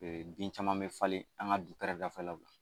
bin caman bɛ falen an ka du kɛrɛdafɛlaw la.